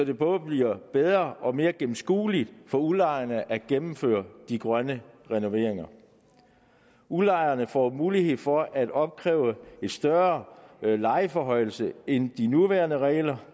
det både bliver bedre og mere gennemskueligt for udlejerne at gennemføre de grønne renoveringer udlejerne får mulighed for at opkræve en større lejeforhøjelse end de nuværende regler